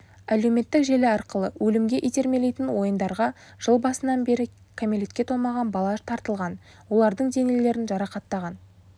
әлеуметтік желі арқылы өлімге итермелейтін ойындарға жыл басынан бері кәмелетке толмаған бала тартылған олардың денелерін жарақаттаған